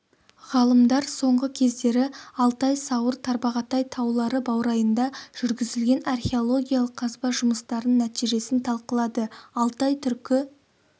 ғалымдар соңғы кездері алтай сауыр тарбағатай таулары баурайында жүргізілген археологиялық қазба жұмыстарының нәтижесін талқылады алтай түркі